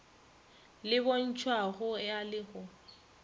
le bontšhwago a le go